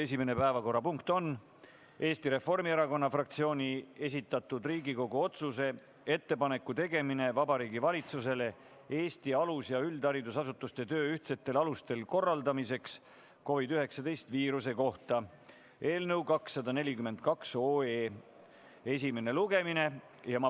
Esimene päevakorrapunkt on Eesti Reformierakonna fraktsiooni esitatud Riigikogu otsuse "Ettepanek Vabariigi Valitsusele Eesti alus- ja üldharidusasutuste töö korraldamiseks ühtsetel alustel COVID-19 viiruse oludes" eelnõu 242 esimene lugemine.